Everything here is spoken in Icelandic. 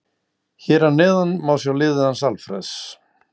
Hér að neðan má sjá liðið hans Alfreðs.